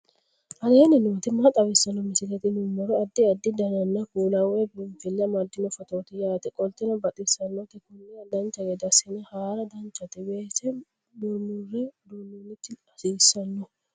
aleenni nooti maa xawisanno misileeti yinummoro addi addi dananna kuula woy biinsille amaddino footooti yaate qoltenno baxissannote konnira dancha gede assine haara danchate weese murmure duunnoonniti hasiissanno